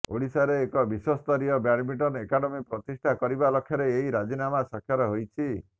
ଓଡ଼ିଶାରେ ଏକ ବିଶ୍ୱସ୍ତରୀୟ ବ୍ୟାଡମିଣ୍ଟନ ଏକାଡେମୀ ପ୍ରତିଷ୍ଠା କରିବା ଲକ୍ଷ୍ୟରେ ଏହି ରାଜିନାମା ସ୍ୱାକ୍ଷର ହୋଇଛି